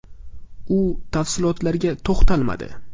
U tafsilotlarga to‘xtalmadi.